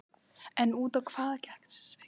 En út á hvað gekk þessi svikamylla?